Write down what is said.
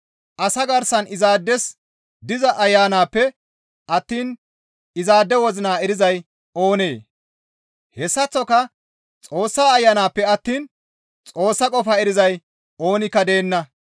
Asa garsan izaades diza ayanappe attiin izaade wozina erizay oonee? Hessaththoka Xoossa Ayanappe attiin Xoossa qofaa erizay oonikka deenna.